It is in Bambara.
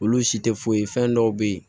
Olu si tɛ foyi ye fɛn dɔw bɛ ye